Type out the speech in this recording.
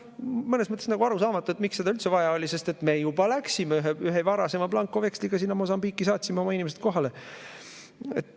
Mõnes mõttes arusaamatu, miks seda üldse vaja oli, sest me juba läksime sinna ühe varasema blankoveksli alusel, saatsime oma inimesed kohale.